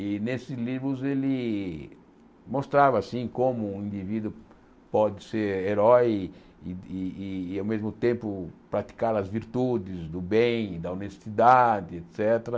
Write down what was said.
E nesses livros ele mostrava assim como um indivíduo pode ser herói e e e ao mesmo tempo praticar as virtudes do bem, da honestidade, et cétera.